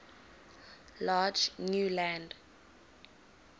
large new land